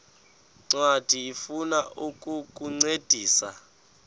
ncwadi ifuna ukukuncedisa